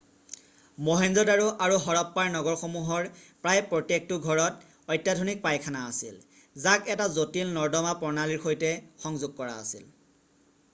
মহেঞ্জো-দাৰো আৰু হৰপ্পাৰ নগৰসমূহৰ প্ৰায় প্ৰত্যেকটো ঘৰত অত্যাধুনিক পাইখানা আছিল যাক এটা জটিল নৰ্দমা প্ৰণালীৰ সৈতে সংযোগ কৰা আছিল